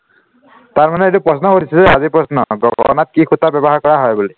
তাৰ মানুহে এইটো প্ৰশ্ন সুধিছে যে আজিৰ প্ৰশ্ন গগগণাত কি সূতা ব্য়ৱহাৰ কৰা হয় বুলি